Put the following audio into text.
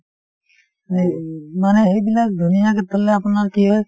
মানে সেইবিলাক ধুনীয়াকে থলে আপোনাৰ কি হয়